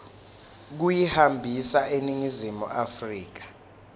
kuyihambisa eningizimu afrika